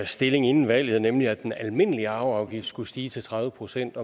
stilling inden valget nemlig at den almindelige arveafgift skulle stige til tredive procent